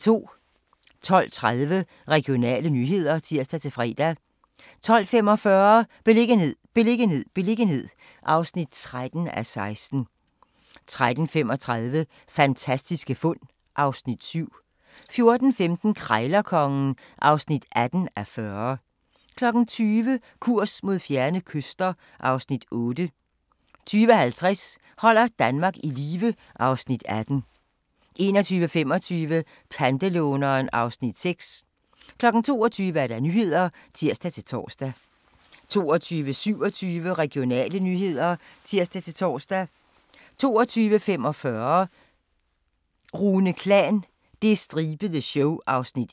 12:30: Regionale nyheder (tir-fre) 12:45: Beliggenhed, beliggenhed, beliggenhed (13:16) 13:35: Fantastiske fund (Afs. 7) 14:15: Krejlerkongen (18:40) 20:00: Kurs mod fjerne kyster (Afs. 8) 20:50: Holder Danmark i live (Afs. 18) 21:25: Pantelåneren (Afs. 6) 22:00: Nyhederne (tir-tor) 22:27: Regionale nyheder (tir-tor) 22:45: Rune Klan – Det stribede show (1:2)